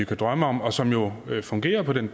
kan drømme om og som jo fungerer på den